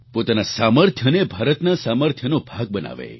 પોતાના સામર્થ્યને ભારતના સામર્થ્યનો ભાગ બનાવે